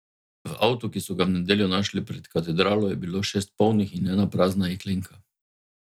V avtu, ki so ga v nedeljo našli pred katedralo, je bilo šest polnih in ena prazna jeklenka.